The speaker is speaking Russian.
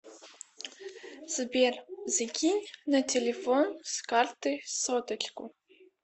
сбер закинь на телефон с карты соточку